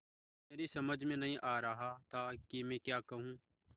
मेरी समझ में नहीं आ रहा था कि मैं क्या कहूँ